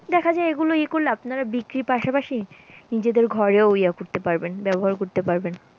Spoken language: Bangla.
দেখা যায় এ গুলো এ করলে আপনারা বিক্রির পাশাপাশি নিজেদের ঘরেও ইয়া করতে পারবেন, ব্যবহার করতে পারবেন।